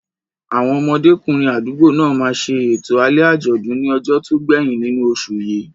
Àwọn ọmọdékùnrin àdúgbò náà máa ṣe ètò alẹ́ àjọ̀dún ní ọjọ́ tó gbẹ̀yìn nínú oṣù yìí.